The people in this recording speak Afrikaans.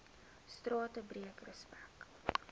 strate breek respek